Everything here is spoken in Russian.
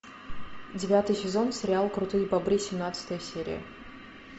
девятый сезон сериал крутые бобры семнадцатая серия